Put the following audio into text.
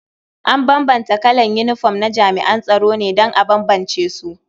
An bambanta kalan yinifom na jami'an tsaro ne don a bambance su.